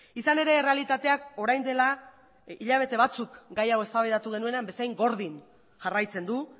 izan ere errealitateak orain dela hilabete batzuk gai hau eztabaidatu genuen bezain gordin jarraitzen du